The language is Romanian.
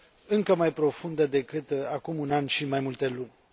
încă mai profundă decât acum un an și mai multe luni.